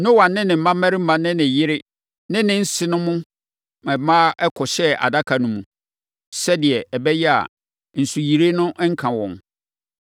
Noa ne ne mmammarima ne ne yere ne ne nsenom mmaa kɔhyɛɛ adaka no mu sɛdeɛ ɛbɛyɛ a, nsuyire no renka wɔn.